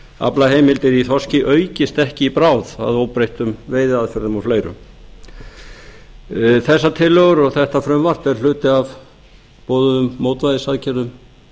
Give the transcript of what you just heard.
aflaheimildir í þorski aukist ekki í bráð að óbreyttum veiðiaðferðum og fleiru þessar tillögur og þetta frumvarp er hluti af boðuðum mótvægisaðgerðum